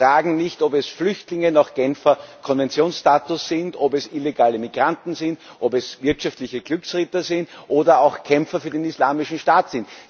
Sie fragen nicht, ob es Flüchtlinge nach Genfer Konventionsstatus sind, ob es illegale Migranten sind, ob es wirtschaftliche Glücksritter sind oder auch Kämpfer für den Islamischen Staat.